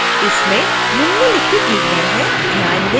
इसमें निम्नलिखित विवरण हैं